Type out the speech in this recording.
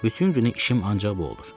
Bütün günü işim ancaq bu olur.